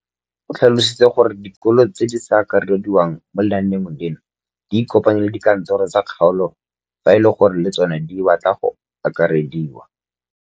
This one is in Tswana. O tlhalositse gore dikolo tse di sa akarediwang mo lenaaneng leno di ikopanye le dikantoro tsa kgaolo fa e le gore le tsona di batla go akarediwa.